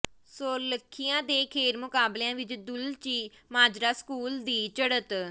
ਸੋਲਖੀਆਂ ਦੇ ਖੇਡ ਮੁਕਾਬਲਿਆਂ ਵਿਚ ਦੁਲਚੀ ਮਾਜਰਾ ਸਕੂਲ ਦੀ ਚੜ੍ਹਤ